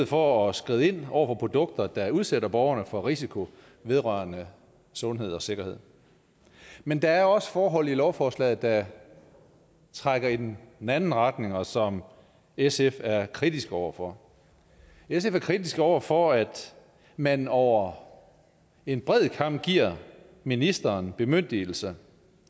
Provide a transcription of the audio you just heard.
for at skride ind over for produkter der udsætter borgerne for risiko vedrørende sundhed og sikkerhed men der er også forhold i lovforslaget der trækker i den anden retning og som sf er kritiske over for sf er kritiske over for at man over en bred kam giver ministeren bemyndigelse